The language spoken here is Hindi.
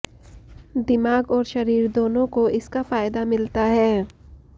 दिमाग और शरीर दोनों को इसका फायदा मिलता है